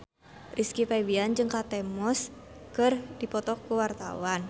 Rizky Febian jeung Kate Moss keur dipoto ku wartawan